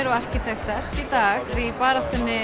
og arkitektar í dag í baráttuna